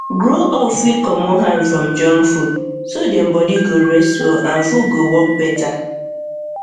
grow up fit comot hand from junk food so dem body go rest well and food go work better